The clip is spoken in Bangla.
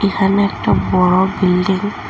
এখানে একটা বড়ো বিল্ডিং --